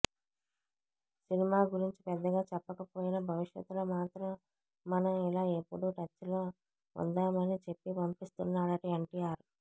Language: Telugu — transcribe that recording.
సినిమా గురించి పెద్దగా చెప్పకపోయినా భవిష్యత్తులో మాత్రం మనం ఇలా ఎప్పుడూ టచ్లో ఉందామని చెప్పి పంపిస్తున్నాడట ఎన్టీఆర్